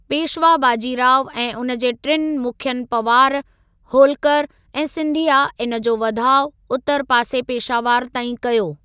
पेशवा बाजीराव ऐं उन जे टिनि मुखियुनि पवार, होल्कर ऐं सिंधिया इन जो वधाउ उतर पासे पेशावर ताईं कयो।